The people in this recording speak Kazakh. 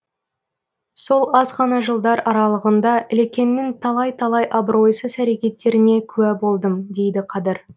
сол азғана жылдар аралығында ілекеңнің талай талай абыройсыз әрекеттеріне куә болдым дейді қадыр